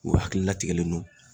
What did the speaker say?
U hakili latigɛlen non